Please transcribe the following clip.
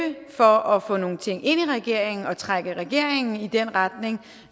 for at få nogle ting ind i regeringen og trække regeringen i den retning